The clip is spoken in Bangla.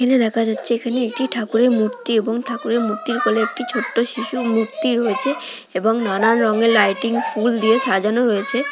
এখানে দেখা যাচ্ছে এখানে একটি ঠাকুরের মূর্তি এবং ঠাকুরের মূর্তির গলে একটি ছোট্ট শিশু মূর্তি রয়েছে এবং নানান রঙের লাইটিং ফুল দিয়ে সাজানো রয়েছে।